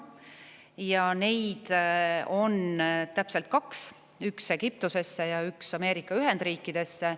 Ja neid on täpselt kaks: üks Egiptusesse ja üks Ameerika Ühendriikidesse.